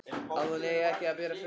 Að hún eigi ekki að bera fötuna.